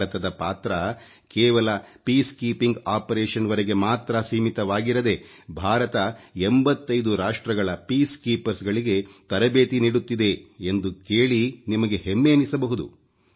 ಭಾರತದ ಪಾತ್ರ ಕೇವಲ ಶಾಂತಿ ಕಾರ್ಯ ಪ್ರಕ್ರಿಯೆವರೆಗೆ ಮಾತ್ರ ಸೀಮಿತವಾಗಿರದೇ ಭಾರತ 85 ರಾಷ್ಟ್ರಗಳ ಶಾಂತಿ ಪಡೆಗಳಿಗೆ ತರಬೇತಿ ನೀಡುತ್ತಿದೆ ಎಂದು ಕೇಳಿ ನಿಮಗೆ ಹೆಮ್ಮೆ ಎನ್ನಿಸಬಹುದು